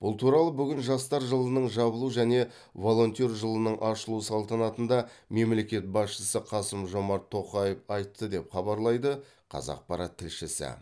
бұл туралы бүгін жастар жылының жабылу және волонтер жылының ашылу салтанатында мемлекет басшысы қасым жомарт тоқаев айтты деп хабарлайды қазақпарат тілшісі